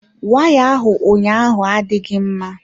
Waya ahụ ụnyaahụ adịghị mma.